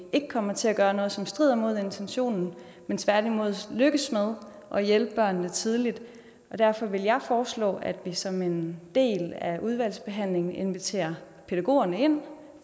ikke kommer til at gøre noget som strider imod intentionen men tværtimod lykkes med at hjælpe børnene tidligt derfor vil jeg foreslå at vi som en del af udvalgsbehandlingen inviterer pædagogerne ind